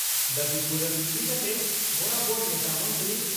ᱫᱟᱵᱤ ᱯᱩᱨᱩᱱ ᱤᱫᱤ ᱠᱟᱛᱮ ᱵᱚᱨᱟᱵᱚᱨ ᱱᱮᱛᱟ ᱢᱚᱱᱛᱨᱤ